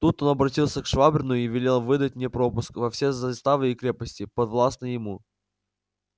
тут он оборотился к швабрину и велел выдать мне пропуск во все заставы и крепости подвластные ему